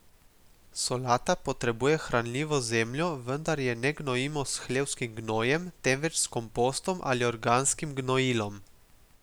Solata potrebuje hranljivo zemljo, vendar je ne gnojimo s hlevskim gnojem, temveč s kompostom ali organskim gnojilom.